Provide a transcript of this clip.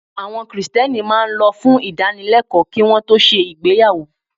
Àwọn Kristẹni máa ń lọ fún ìdánilẹ́kọ̀ọ́ kí won tó ṣe ìgbéyàwó.